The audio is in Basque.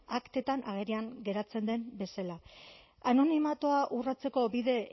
aktetan agerian geratzen den bezala anonimatua urratzeko bide